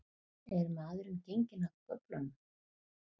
Er maðurinn genginn af göflunum?